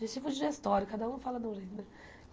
Digestivo digestório, cada um fala de um jeito né.